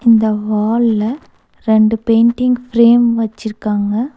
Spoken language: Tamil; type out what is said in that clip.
இந்த வால்ல ரண்டு பெயிண்டிங் ஃப்ரேம் வச்சிருக்காங்க.